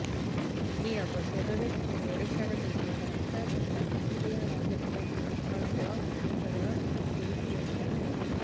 ଏହି ଅବସରରେ ସେ ଓଡିଶାର ବିଭିନ୍ନ ରାସ୍ତା ତଥା ଜାତୀୟ ରାଜପଥ ପ୍ରକଳ୍ପ ଗୁଡିକର ସ୍ଥିତି ସମୀକ୍ଷା କରିବେ